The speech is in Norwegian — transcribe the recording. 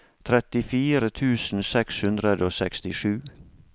trettifire tusen seks hundre og sekstisju